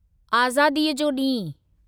आज़ादीअ जो ॾींहुं